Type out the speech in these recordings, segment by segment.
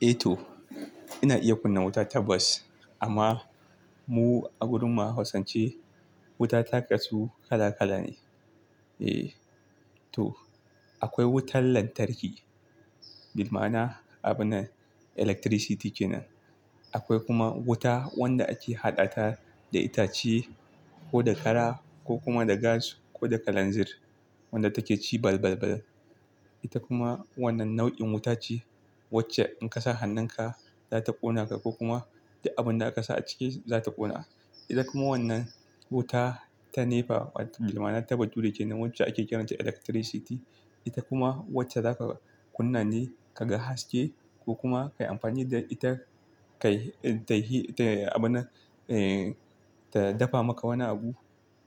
Eh to, ina iya kunna wuta ta bas amma mu a gurinmu a Hausance wuta ta kasu kala kala ne. Eh to, akwai wutar lantarki, bilmana abunan electricity kenan. Akwai kuma wuta wanda ake haɗa ta da itace ko da kara ko kuma da gas ko da kalanzir wadda take ci balbalbal. Ita kuma wannan nau'in wuta ce wacce in ka sa hannunka za ta ƙona ka ko kuma da abun da aka sa a ciki za ta ƙona. Ida kuma wannan wuta ta NEPA bilmana ta bature kenan wacce ake kiranta electricity. Ita kuma wacce za ka kunna ne ka ga haske ko kuma ka yi amfani da ita, kai ta yi abunan, eh, ta dafa maka wani abu.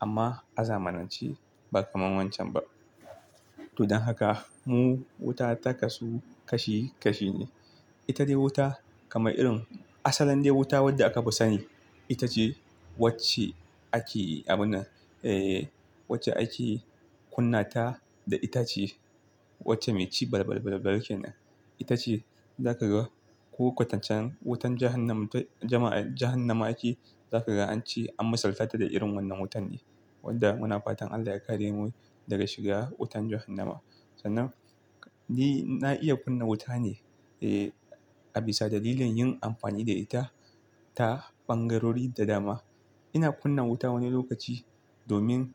Amma a zamanance ba kamar wancan ba. To don haka mu wuta ta kasu kashi kashi ne. Ita dai wuta kamar irin asalan dai wuta wadda aka fi sani. Ita ce wacce ake abunan, eh, wacce ake kunna ta da itace, wacce mai ci balbalbalbal kenan. Ita ce za ka ga ko kwatancen wutan jahannama jama'a jahannama ake, za ka ga an ce, an misaltata da irin wannan wutan ne. Wanda munafutan Allah ya kare mu daga shiga wutan jahannama. Sannan ni na iya kunna wuta ne, eh, a bisa dalilin yin amfani da ita ta ɓangarori da dama. Ina kunna wuta wani lokaci domin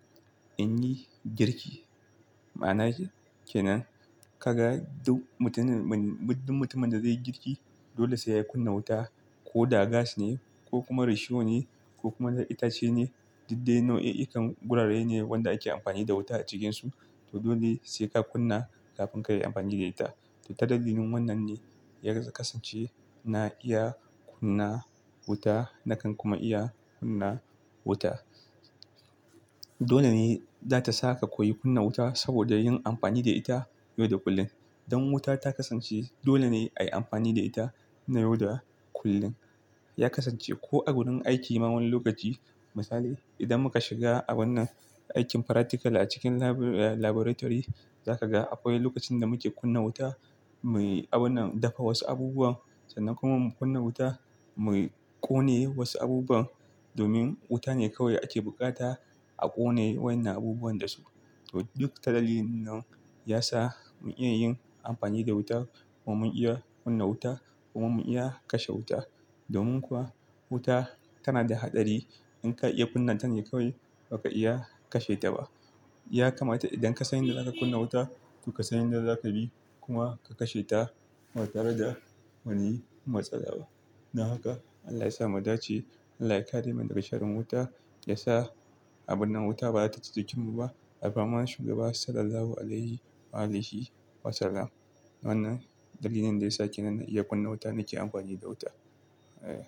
in yi girki. Ma'anashi kenan, ka ga duk mutumin, mutumin da zai yi girki dole sai ya kunna wuta ko da gas ne ko kuma risho ne ko kuma da itace ne. Diddai nau'i ikan gurare ne wanda ake amfani da wuta a cikinsu. To dole sai ka kunna kafin kayi amfani da ita. To ta dalilin wannan ne ya kasance na iya kunna wuta nakan kuma iya kunna wuta. Dole ne za ta sa ka koyi kunna wuta saboda yin amfani da ita yau da kullum. Don wuta ta kasance dole ne a yi amfani da ita na yau da kullum. Ya kasance ko a gurin aiki ma wani lokaci. Misali idan muka shiga abunan aikin practical a cikin laboratory, za ka ga akwai lokacin da muke kunna wuta muyi abunan dafa wasu abubuwan sannan kuma mu kunna wuta muyi ƙone wasu abubuwan domin wuta ne kawai ake bukata a ƙone wannan abubuwan dasu. To duk ta dalilin nan ya sa mun iya yin amfani da wuta kuma mun iya kunna wuta kuma mun iya kashe wuta. Domin kuwa wuta tana da haɗari. In ka iya kunna ta ne kawai ba ka iya kashe ta ba. Ya kamata idan ka sani da za ka kunna wuta to ka san inda za ka bi kuma ka kashe ta ba tare da wani matsala ba. Don haka Allah ya sa mu da ce Allah ya kare mu daga sharan wuta. Ya sa abunan wuta ba za ta ci jikinmu ba. Alfarman shugaba sallallahu alaihi wa alihi wasallam. Wannan dalilin da ya sa ke nan na iya kunna wuta nake amfani da wuta. Eh.